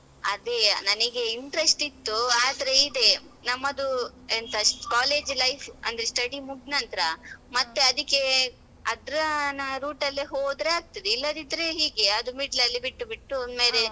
ಅದೇ ನನಗೆ interest ಇತ್ತು ಆದ್ರೆ ಇದೆ ನಮ್ಮದು ಎಂತ college life ಅಂದ್ರೆ study ಮುಗ್ನಂತ್ರ ಮತ್ತೆ ಅದಕ್ಕೆ ಅದ್ರ ನ route ಅಲ್ಲೇ ಹೋದ್ರೆ ಆಗ್ತದೆ ಇಲ್ಲದಿದ್ರೆ ಹೀಗೆ ಅದು middle ಅಲ್ಲಿ ಬಿಟ್ಟು ಬಿಟ್ಟು.